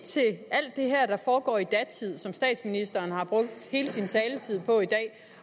til alt det her der foregår i datid og som statsministeren har brugt hele sin taletid på i dag